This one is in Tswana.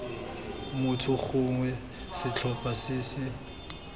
motho gongwe setlhopha se se